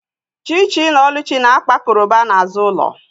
Chichi na oluchi na-akpa koroba n’azụ ụlọ